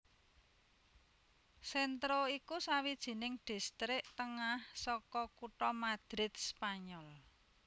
Centro iku sawijining distrik tengah saka kutha Madrid Spanyol